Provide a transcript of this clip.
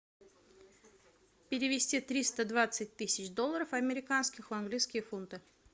перевести триста двадцать тысяч долларов американских в английские фунты